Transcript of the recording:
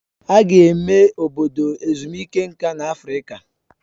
Aga eme Obodo ezumike nka na Afrịka